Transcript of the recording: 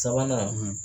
Sabanan